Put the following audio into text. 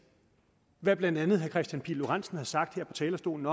hvad blandt andet herre kristian pihl lorentzen har sagt her på talerstolen